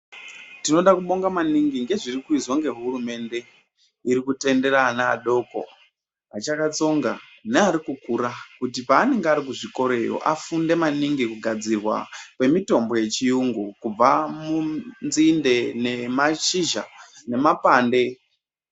Tinoda kubonga maningi ngezvirikuizwa ngehurumende irikutendera ana adoko achakatsonga nerikukura kuti paanenge ari kuzvikoroyo, afunde maningi kugadzirwa kwemitombo yechiyungu kubva munzinde nemashizha nemapande.